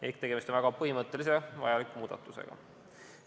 Ehk tegemist on väga põhimõttelise vajaliku muudatusega.